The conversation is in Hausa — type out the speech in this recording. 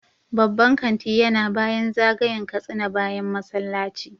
Babban kanti yana bayan zagayen Katsina bayan masallaci